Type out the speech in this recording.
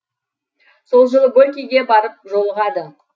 сол жылы горькийге барып жолығады